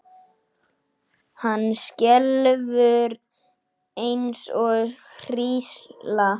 Hann skelfur eins og hrísla.